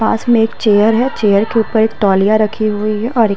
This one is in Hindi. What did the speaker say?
पास में एक चेयर है। चेयर के ऊपर एक तौलिया रखी हुई है और एक --